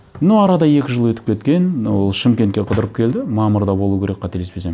но арада екі жыл өтіп кеткен ол шымкентке қыдырып келді мамырда болу керек қателеспесем